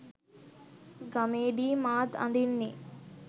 ගමේදි මාත් අඳින්නෙ